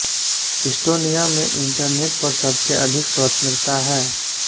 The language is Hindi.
इस्टोनिया में इंटरनेट पर सबसे अधिक स्वतंत्रता है